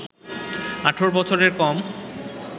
১৮ বছরের কম